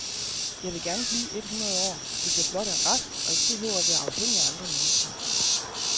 Jeg vil gerne blive et hundrede år, hvis blot jeg er rask og ikke behøver at være afhængig af andre mennesker.